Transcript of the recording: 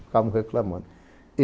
Ficavam reclamando.